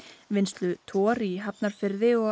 vinnslu Tor í Hafnarfirði og